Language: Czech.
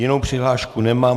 Jinou přihlášku nemám.